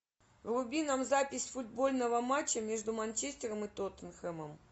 вруби нам запись футбольного матча между манчестером и тоттенхэмом